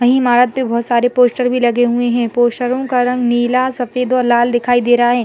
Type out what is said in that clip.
वहीं ईमारत पे बहोत सारे पोस्टर भी लगे हुए है पोस्टरों का रंग नीला सफ़ेद और लाल दिखाई दे रहा हैं।